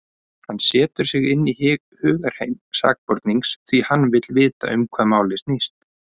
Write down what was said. Hann setur sig inn í hugarheim sakborningsins, því hann vill vita um hvað málið snýst.